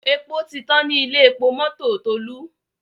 èpo tí tán ní Ilé-epo mọ́tò Tolu.